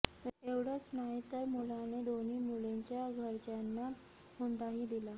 एवढंच नाही तर मुलाने दोन्ही मुलींच्या घरच्यांना हुंडाही दिला